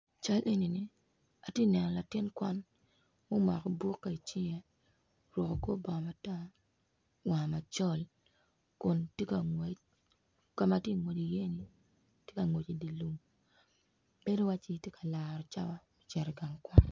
Cal enini atye neno latin kwan ma omako bukke i cinge omako kor bongo matar war macol kun tye ka ngwec kama tye ngwec iye ni tye ka ngwec i dilum bedo waci tye ka laro cawa me cito i gang kwan.